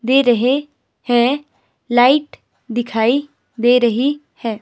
दे रहे हैं लाइट दिखाई दे रही है।